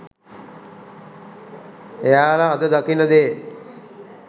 එයාල අද දකින දේ